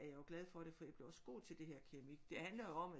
Er jeg jo glad for det for jeg blev også god til det her keramik det handler jo om at